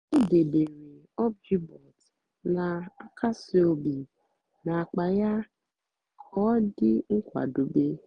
ó débééré óbjíbòt nà-àkásí óbí n'ákpá yá kà ọ́ dị́ nkwádobé.